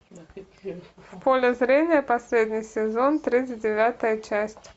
в поле зрения последний сезон тридцать девятая часть